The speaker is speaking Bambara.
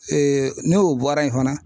ne o bɔra ye fana.